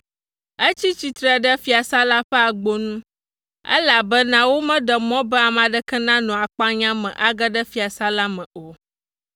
Etsi tsitre ɖe fiasã la ƒe agbo nu, elabena womeɖe mɔ be ame aɖeke nanɔ akpanya me age ɖe fiasã la me o.